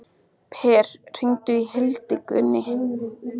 Per, hringdu í Hildigunni.